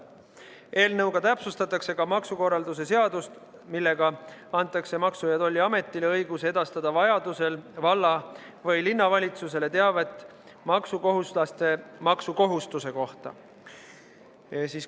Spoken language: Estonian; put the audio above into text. Eelnõuga täpsustatakse ka maksukorralduse seadust, millega antakse Maksu- ja Tolliametile õigus edastada vajaduse korral valla- või linnavalitsusele teavet maksukohustuslase maksukohustuse kohta.